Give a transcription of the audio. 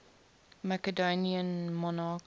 macedonian monarchs